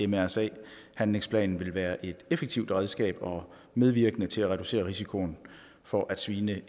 mrsa handlingsplanen vil være et effektivt redskab og medvirkende til at reducere risikoen for at svine